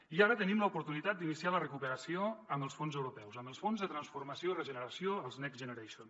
i ara tenim l’oportunitat d’iniciar la recuperació amb els fons europeus amb els fons de transformació i regeneració els next generation